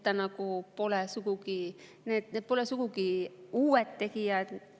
Nad pole sugugi uued tegijad.